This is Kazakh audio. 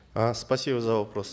э спасибо за вопрос